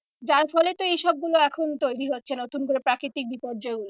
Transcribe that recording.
যার ফলে তো এই সব গুলো এখন তৈরী হচ্ছে নতুন করে প্রাকৃতিক বিপর্যয় গুলো।